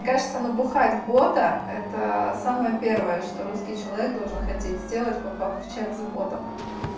мне кажется напоить бота это самое первое что русский человек должен хотеть сделать попав в чат с ботом